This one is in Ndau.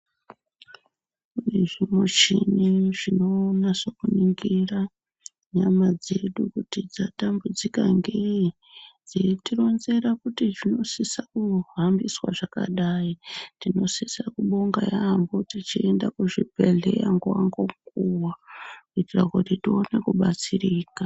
Kune zvimuchini zvinonasokuningira nyama dzedu kuti dzatambudzika ngeyi dzeitironzera kuti zvinosise kuhambiswa zvakadayi tinosisa kubonga yaambo tichienda kuzvibhedhlera nguva nenguva kuitira kuti tione kubatsirika .